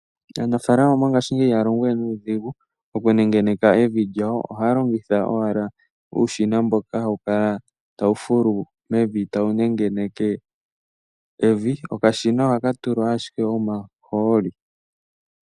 Aanafalama mongashingeyi ihaya longo we nuudhigu okunengeneka evi lyawo. Ohaya longitha owala uushina mboka hawu kala tawu fulu mevi tawu nengeneke evi. Okashina ohaka tulwa ashike omahooli.